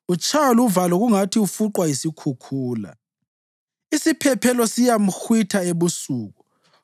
Utshaywa luvalo kungathi ufuqwa yisikhukhula; isiphepho siyamhwitha ebusuku.